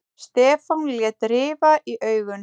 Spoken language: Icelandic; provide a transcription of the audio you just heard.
Stefán lét rifa í augun.